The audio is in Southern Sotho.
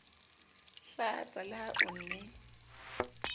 hlatsa le ha o ne